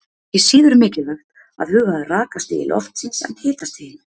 Til dæmis er ekki síður mikilvægt að huga að rakastigi loftsins en hitastiginu.